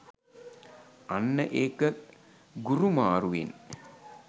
අන්න ඒක ගුරු මාරුවෙන්